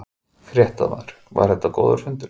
Fréttamaður: Var þetta góður fundur?